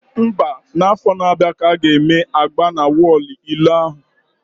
Mba, na afọ na abịa ka aga eme agba na wọlụ ilo ahụ